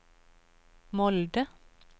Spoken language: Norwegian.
Molde